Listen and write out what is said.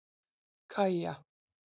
Kaja